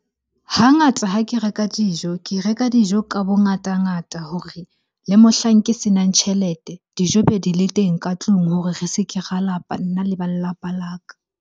Hangata ha ke reka dijo, ke reka dijo ka bongata-ngata hore le mohlang ke senang tjhelete. Dijo be di le teng ka tlung hore re se ke ra lapa nna le ba lelapa la ka.